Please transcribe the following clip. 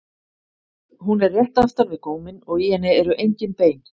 Hún er rétt aftan við góminn og í henni eru engin bein.